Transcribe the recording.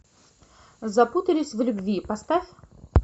запутались в любви поставь